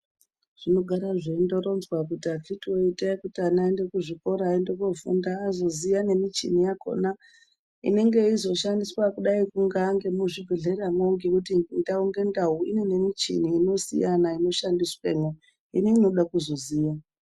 Zvinogara zveindoronzwa kuti akiti woye itai kuti ana aende kuchikora azoziya nemichini yakona inenge yeishandiswa muzvibhedhlera ngekuti ndau ngendau ine michini inosiyana inoshandiswamo imweni inode kuzoziya.